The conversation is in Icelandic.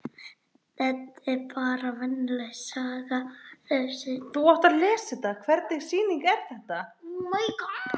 Hvernig sýning er þetta?